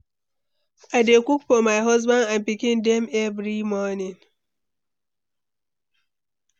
i dey cook for my husband and pikin dem every morning.